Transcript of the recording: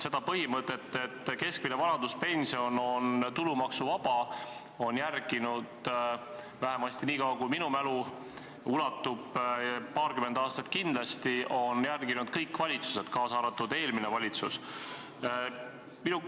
Seda põhimõtet, et keskmine vanaduspension on tulumaksuvaba, on vähemasti nii kaua, kuhumaani minu mälu ulatub, paarkümmend aastat kindlasti, järginud kõik valitsused, kaasa arvatud eelmine valitsus.